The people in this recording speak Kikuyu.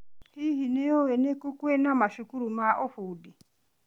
Hihi, nĩ ũĩ nĩ kũ kwĩna macukuru ma ũbundi?